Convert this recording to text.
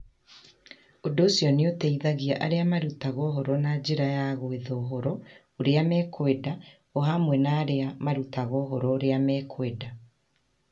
Ũndũ ũcio nĩ ũteithagia arĩa marutaga ũhoro na njĩra ya gwetha ũhoro ũrĩa mekwenda, o hamwe na arĩa marutaga ũhoro ũrĩa mekwenda.